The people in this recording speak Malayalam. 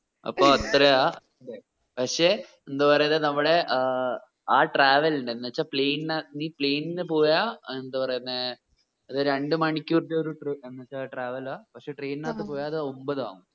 അപ്പോ അത്രയ പക്ഷെ എന്താ പറയുന്നേ നമ്മുടെ ആ travel നെ എന്ന് വെച്ച plane അ നീ plane പോയ എന്ത് പറയുന്നേ ഏർ രണ്ട് മണിക്കൂറത്തെ ഒരു travel ആ പക്ഷെ train നത്തു പോയ അത് ഒമ്പത് ആകും